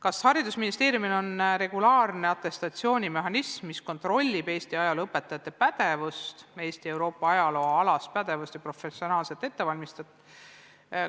Kas haridusministeeriumil on regulaarne atestatsioonimehhanism, mis kontrollib Eesti ajalooõpetajate pädevust, Eesti ja Euroopa ajaloo alast pädevust ja professionaalset ettevalmistust?